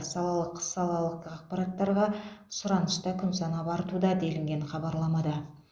салалық салалық ақпараттарға сұраныс та күн санап артуда делінген хабарламада